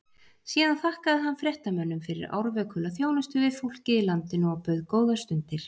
Síðan þakkaði hann fréttamönnum fyrir árvökula þjónustu við fólkið í landinu og bauð góðar stundir.